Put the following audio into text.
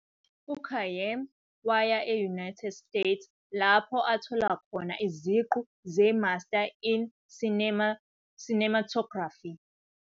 UKhayyam waya e- United States lapho athola khona iziqu ze-master in cinematography.